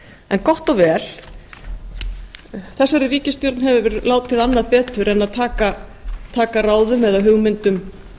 en gott og vel þessari ríkisstjórn hefur látið annað betur en að taka ráðum eða hugmyndum